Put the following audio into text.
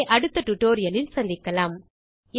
ஆகவே அடுத்த டுடோரியலில் சந்திக்கலாம்